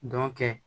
Dɔ kɛ